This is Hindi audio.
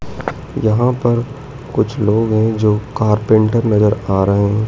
यहां पर कुछ लोग हैं जो कारपेंटर नजर आ रहे--